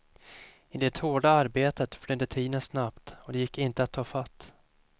I det hårda arbetet flydde tiden snabbt, och den gick inte att ta fatt.